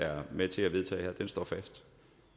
er med til at vedtage her står fast